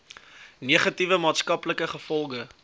negatiewe maatskaplike gevolge